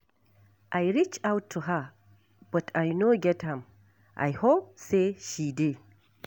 I reach out to her but I no get am, I hope say she dey.